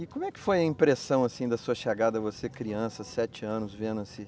E como é que foi a impressão, assim, da sua chegada, você criança, sete anos, vendo assim